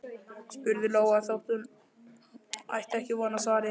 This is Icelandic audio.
spurði Lóa þótt hún ætti ekki von á svari.